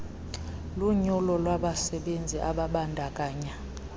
lunyulo labasebenzi ababandakanya